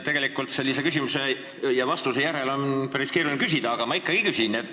Tegelikult on sellise küsimuse ja vastuse järel päris keeruline küsida, aga ma ikkagi küsin.